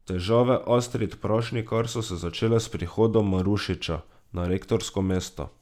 Težave Astrid Prašnikar so se začele s prihodom Marušiča na rektorsko mesto.